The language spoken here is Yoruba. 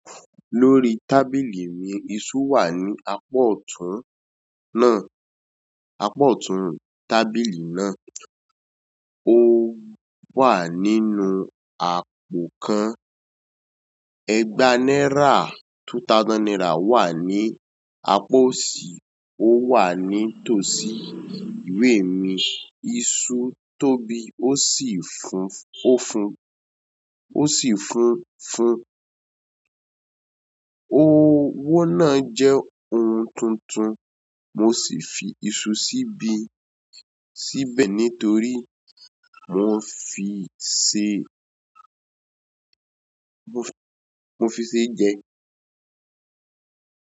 Lórí tábìlì mi, iṣú wà ní apa ọ̀tún náà, apa ọ̀tún tábìlì náà. Ó wà nínú àpò kan. Egba náírà, two thousand naira wà ní apa ọ̀sí. Ó wà ní tòsí ìwé mi. Iṣù tóbi ó sì fún, ó fún, ó sì fún fún. Owó náà jẹ́ ohun tuntun mo sì fi iṣu sí bí, síbẹ̀ nítorí mo fi ṣe, mo fi ṣe jẹ.